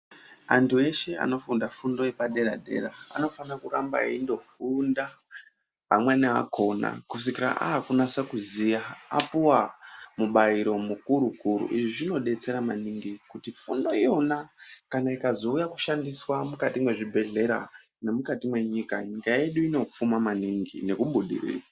Antu eshe anofunda fundo yepa dera dera anofana kuramba eindo funda amweni akona kusvikira akunasa kuziya apuwa mubairo mu kuru kuru izvi zvino detsera maningi kuti fundo iyona kana ikazo uya kushandiswa mukati mwe zvibhedhleya ne mukati me nyika nyika yedu inopfuma maningi neku budirira.